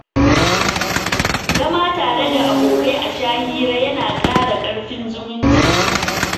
Zama tare da abokai a sha hira yana ƙara ƙarfin zumunci.